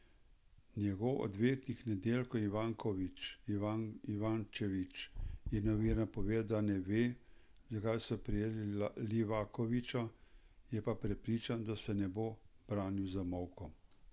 Njegov odvetnik Nediljko Ivančević je novinarjem povedal, da ne ve, zakaj so prijeli Livakovića, je pa prepričan, da se ne bo branil z molkom.